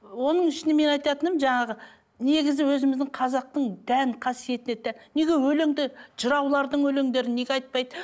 оның ішіне мен айтатыным жаңағы негізі өзіміздің қазақтың тән қасиетіне неге өлеңді жыраулардың өлеңдерін неге айтпайды